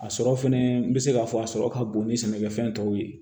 A sɔrɔ fɛnɛ n bɛ se k'a fɔ a sɔrɔ ka bon ni sɛnɛkɛfɛn tɔw ye